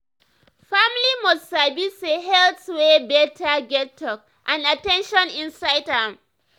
family must sabi say health wey better get talk and at ten tion inside am.